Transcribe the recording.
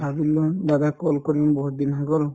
ভাবিলো দাদাক call কৰিম বহুতদিন হৈ গল